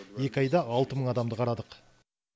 екі айда алты мың адамды қарадық